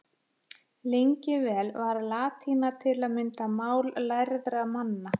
Lengi vel var latína til að mynda mál lærðra manna.